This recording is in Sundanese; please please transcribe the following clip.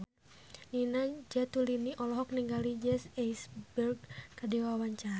Nina Zatulini olohok ningali Jesse Eisenberg keur diwawancara